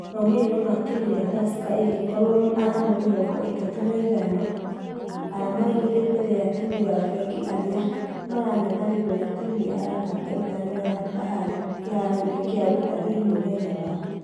Maumerera ma timũ ya tusker ĩgĩkorwo arama mĩrongo ĩtatu na ithano, arama igĩrĩ mbere ya timũ ya fengi arĩa marangethanĩire na timũ namba ithano ya bahari kĩharo gia utalii mũthenya wa......